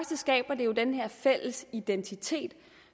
det skaber jo den her fælles identitet